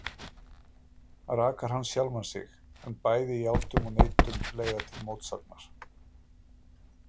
Rakar hann sjálfan sig? en bæði játun og neitun leiða til mótsagnar.